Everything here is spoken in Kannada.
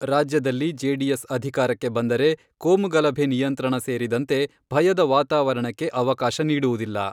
ರಾಜ್ಯದಲ್ಲಿ ಜೆಡಿಎಸ್ ಅಧಿಕಾರಕ್ಕೆ ಬಂದರೆ ಕೋಮು ಗಲಭೆ ನಿಯಂತ್ರಣ ಸೇರಿದಂತೆ ಭಯದ ವಾತಾವರಣಕ್ಕೆ ಅವಕಾಶ ನೀಡುವುದಿಲ್ಲ.